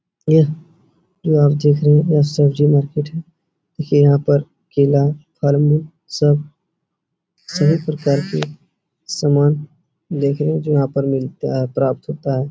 यह जो आप देख रहे है यह सब्जी मार्केट है। ये यहाॅं पर केला फ़ल्म सब सभी प्रकार के सामान देखने जो यहाॅं पर मिलता है प्राप्त होता है।